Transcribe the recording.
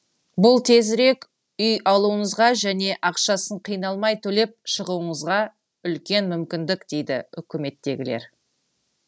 бұл тезірек үй алуыңызға және ақшасын қиналмай төлеп шығуыңызға үлкен мүмкіндік дейді үкіметтегілер